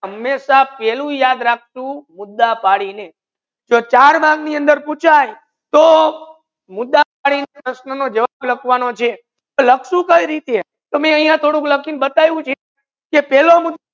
હમેશા પેલુ યાદ રાખસુ મુદ્દા પડીને જો ચાર માર્ક ની અંદર પૂછાયે તો મુદ્દા પ્રશ્ના નો જવાબ લાખવાનો તો લાખશુ કયી રીતે તો મે અહિયા થોડુ લાખેને બટાવ્યુ છે કે ફેલુ મુદ્દો